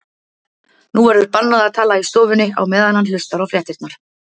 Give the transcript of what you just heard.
Nú verður bannað að tala í stofunni á meðan hann hlustar á fréttirnar.